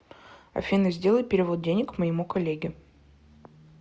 афина сделай перевод денег моему коллеге